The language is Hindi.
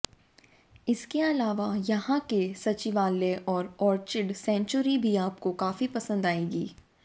इसके अलावा यहां के सचिवालय और ऑर्चिड सेंचुरी भी आपको काफी पसंद आएगी